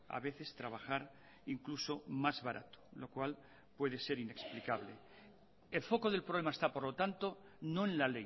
a veces trabajar incluso más barato lo cual puede ser inexplicable el foco del problema está por lo tanto no en la